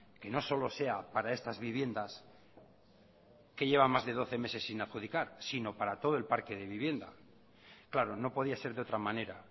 que no solo sea para estas viviendas que llevan más de doce meses sin adjudicar sino para todo el parque de vivienda claro no podía ser de otra manera